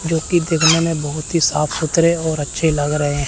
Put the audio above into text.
जोकि देखने में बहोत ही साफ सुथरे और अच्छे लग रहे हैं।